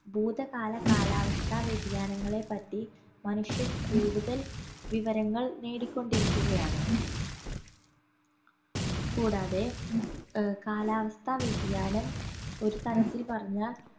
ഭൂതകാല കാലാവസ്ഥാ വ്യതിയാനങ്ങളെ പറ്റി മനുഷ്യൻ കൂടുതൽ വിവരങ്ങൾ നേടിക്കൊണ്ടിരിക്കുകയാണ് കൂടാതെ ഏർ കാലാവസ്ഥാ വ്യതിയാനം ഒരു തരത്തിൽ പറഞ്ഞാ